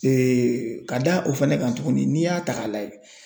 ka da o fɛnɛ kan tuguni n'i y'a ta k'a lajɛ